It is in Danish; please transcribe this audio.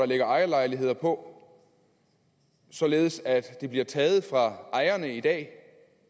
ligger ejerlejligheder på således at de bliver taget fra ejerne i dag